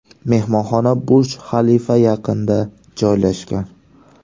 Mehmonxona Burj-Xalifa yaqinida joylashgan.